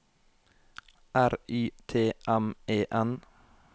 R Y T M E N